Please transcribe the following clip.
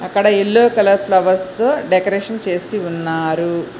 ఇక్కడ yellow colour flowers తో decoration చేసి ఉన్నారు.